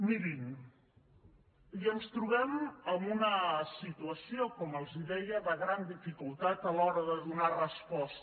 mirin i ens trobem en una situació com els deia de gran dificultat a l’hora de donar resposta